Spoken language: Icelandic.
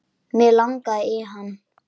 Mig langaði í hana.